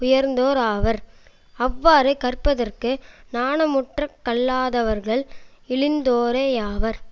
உயர்ந்தோராவர் அவ்வாறு கற்பதற்கு நாணமுற்றுக் கல்லாதவர்கள் இழிந்தோரேயாவார்